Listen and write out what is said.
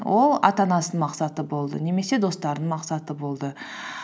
ол ата анасының мақсаты болды немесе достарының мақсаты болды